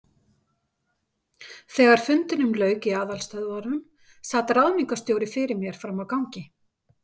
Þegar fundinum lauk í aðalstöðvunum, sat ráðningarstjóri fyrir mér frammi á gangi.